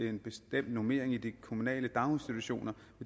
en bestemt normering i de kommunale daginstitutioner